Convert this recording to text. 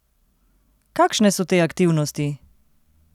Kakšne so te aktivnosti?